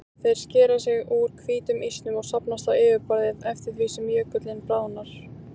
Þeir skera sig úr hvítum ísnum og safnast á yfirborðið eftir því sem jökullinn bráðnar.